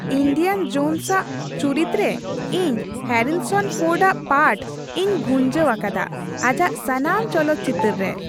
Indian Jones ᱟᱜ ᱪᱩᱨᱤᱛ ᱨᱮ ᱤᱧ ᱦᱮᱹᱨᱤᱥᱚᱱ ᱯᱷᱳᱨᱰ ᱟᱜ ᱯᱟᱴᱷ ᱤᱧ ᱵᱷᱩᱧᱡᱟᱹᱣ ᱟᱠᱟᱫᱟ ᱟᱡᱟᱜ ᱥᱟᱱᱟᱢ ᱪᱚᱞᱚᱛ ᱪᱤᱛᱟᱹᱨ ᱨᱮ ᱾